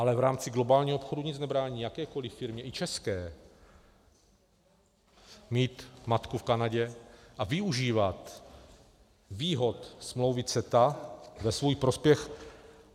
Ale v rámci globálního obchodu nic nebrání jakékoliv firmě, i české, mít matku v Kanadě a využívat výhod smlouvy CETA ve svůj prospěch.